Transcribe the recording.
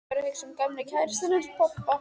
Ég var að hugsa um gömlu kærustuna hans pabba.